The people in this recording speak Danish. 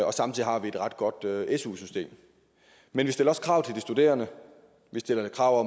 og samtidig har vi et ret godt su system men vi stiller også krav til de studerende vi stiller krav